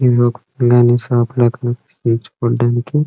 ఇదొక షాప్ కనిపిస్తుంది చూడ్డానికి.